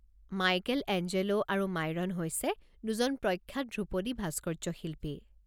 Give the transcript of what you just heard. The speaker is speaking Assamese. মাইকেলএঞ্জেলো আৰু মাইৰন হৈছে দুজন প্ৰখ্যাত ধ্ৰুপদী ভাস্কৰ্যশিল্পী।